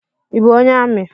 I bụ onye ami?